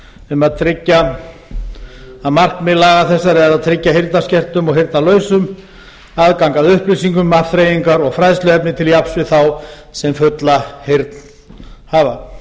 um að tryggja að markmið laga þessara um að markmið laga þessara er að tryggja heyrnarskertum og heyrnarlausum aðgang að upplýsingum afþreyingar og fræðsluefni til jafns við þá sem fulla heyrn hafa